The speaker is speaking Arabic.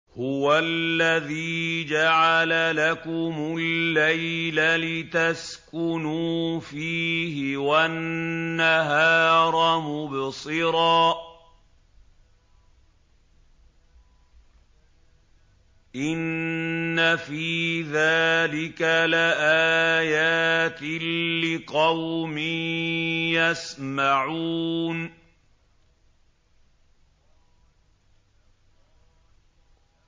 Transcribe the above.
هُوَ الَّذِي جَعَلَ لَكُمُ اللَّيْلَ لِتَسْكُنُوا فِيهِ وَالنَّهَارَ مُبْصِرًا ۚ إِنَّ فِي ذَٰلِكَ لَآيَاتٍ لِّقَوْمٍ يَسْمَعُونَ